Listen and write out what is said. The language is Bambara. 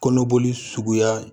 Kɔnɔboli suguya